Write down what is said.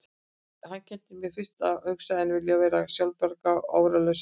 Hann kenndi mér fyrst að hugsa, að vilja vera sjálfbjarga, áreiðanleg og sannorð.